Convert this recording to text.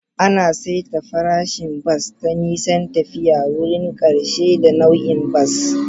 Ana saita farashin bas ta nisan tafiya, wurin ƙarshe, da nau'in bas.